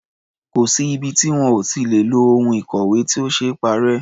Kò sí ibi tí wọn ò lè ti lo ohun ìkọ̀wé tí ò ṣee parẹ́.